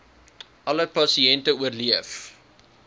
alle pasiënte oorleef